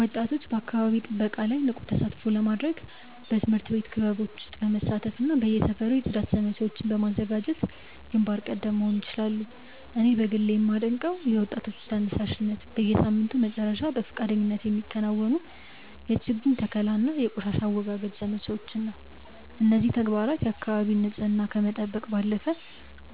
ወጣቶች በአካባቢ ጥበቃ ላይ ንቁ ተሳትፎ ለማድረግ በትምህርት ቤት ክበቦች ውስጥ በመሳተፍና በየሰፈሩ የጽዳት ዘመቻዎችን በማዘጋጀት ግንባር ቀደም መሆን ይችላሉ። እኔ በግሌ የማደንቀው የወጣቶች ተነሳሽነት፣ በየሳምንቱ መጨረሻ በፈቃደኝነት የሚከናወኑ የችግኝ ተከላና የቆሻሻ አወጋገድ ዘመቻዎችን ነው። እነዚህ ተግባራት የአካባቢን ንፅህና ከመጠበቅ ባለፈ፣